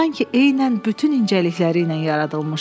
Sanki eynən bütün incəlikləri ilə yaradılmışdı.